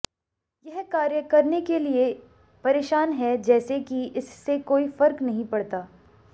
यह कार्य करने के लिए परेशान है जैसे कि इससे कोई फर्क नहीं पड़ता